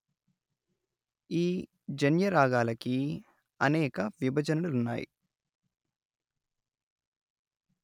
ఈ జన్య రాగాలకీ అనేక విభజనలు ఉన్నాయి